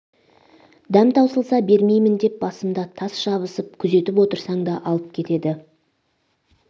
дәм таусылса бермеймін деп басымда тас жабысып күзетіп отырсаң да алып кетеді